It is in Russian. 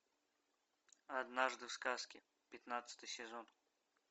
однажды в сказке пятнадцатый сезон